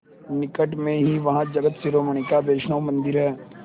निकट में ही वहाँ जगत शिरोमणि का वैष्णव मंदिर है